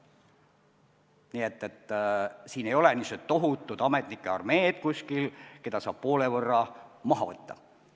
Nii et siin ei ole kuskil niisugust tohutut ametnike armeed, keda saab poole võrra maha võtta.